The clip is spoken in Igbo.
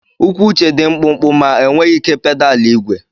Ụkwụ Uche dị mkpụmkpụ ma enweghị ike pedal igwe.